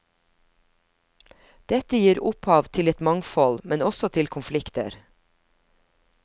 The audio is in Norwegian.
Dette gir opphav til et mangfold, men også til konflikter.